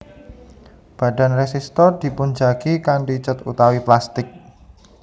Badan résistor dipunjagi kanthi cèt utawi plastik